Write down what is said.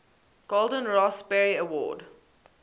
golden raspberry award